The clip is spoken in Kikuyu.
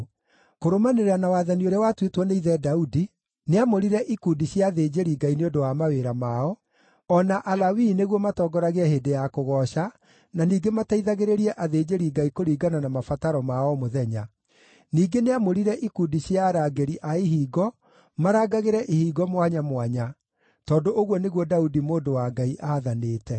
Kũrũmanĩrĩra na wathani ũrĩa watuĩtwo nĩ ithe Daudi, nĩamũrire ikundi cia athĩnjĩri-Ngai nĩ ũndũ wa mawĩra mao, o na Alawii nĩguo matongoragie hĩndĩ ya kũgooca na ningĩ mateithagĩrĩrie athĩnjĩri-Ngai kũringana na mabataro ma o mũthenya. Ningĩ nĩamũrire ikundi cia arangĩri a ihingo marangagĩre ihingo mwanya mwanya, tondũ ũguo nĩguo Daudi, mũndũ wa Ngai, aathanĩte.